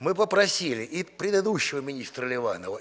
мы попросили и предыдущего министра ливанова